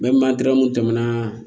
N bɛ tɛmɛ na